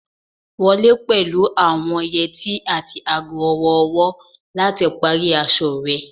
Wọle pẹlu awọn yeti ati aago ọwọ-ọwọ lati pari aṣọ rẹ